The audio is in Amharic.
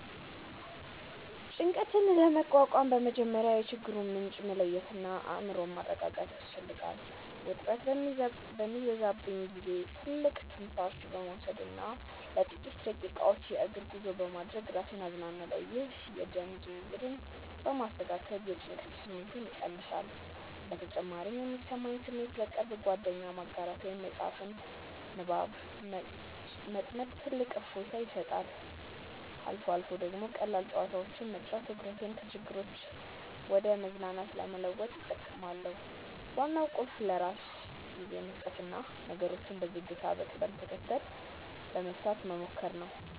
ጭንቀትን ለመቋቋም በመጀመሪያ የችግሩን ምንጭ መለየትና አእምሮን ማረጋጋት ያስፈልጋል። ውጥረት በሚበዛብኝ ጊዜ ጥልቅ ትንፋሽ በመውሰድና ለጥቂት ደቂቃዎች የእግር ጉዞ በማድረግ ራሴን አዝናናለሁ። ይህ የደም ዝውውርን በማስተካከል የጭንቀት ስሜትን ይቀንሳል። በተጨማሪም የሚሰማኝን ስሜት ለቅርብ ጓደኛ ማጋራት ወይም በመጽሐፍ ንባብ መጥመድ ትልቅ እፎይታ ይሰጣል። አልፎ አልፎ ደግሞ ቀላል ጨዋታዎችን መጫወት ትኩረቴን ከችግሮች ወደ መዝናናት ለመለወጥ እጠቀማለሁ። ዋናው ቁልፍ ለራስ ጊዜ መስጠትና ነገሮችን በዝግታና በቅደም ተከተል ለመፍታት መሞከር ነው።